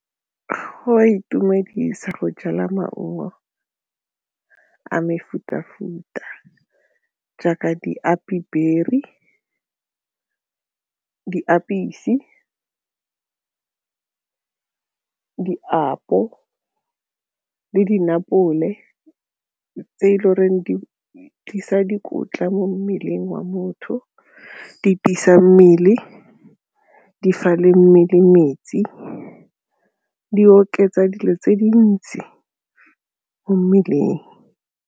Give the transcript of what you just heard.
Go a itumedisa go jala maungo a mefuta-futa jaaka di tse e le goreng di tlisa dikotla mo mmeleng wa motho, mmele di fa le mmele metsi di oketsa dilo tse dintsi mo mmeleng.